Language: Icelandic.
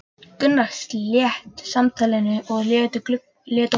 Gunnar sleit samtalinu og leit á klukkuna.